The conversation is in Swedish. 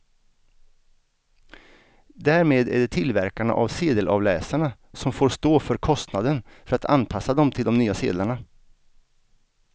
Därmed är det tillverkarna av sedelavläsarna som får stå för kostnaden för att anpassa dem till de nya sedlarna.